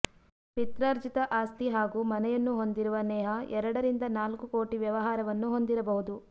ಪಿತ್ರಾರ್ಜಿತ ಆಸ್ತಿ ಹಾಗೂ ಮನೆಯನ್ನು ಹೊಂದಿರುವ ನೇಹಾ ಎರಡರಿಂದ ನಾಲ್ಕು ಕೋಟಿ ವ್ಯವಹಾರವನ್ನು ಹೊಂದಿರಬಹುದು